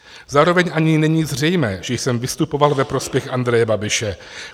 Zároveň ani není zřejmé, že jsem vystupoval ve prospěch Andreje Babiše.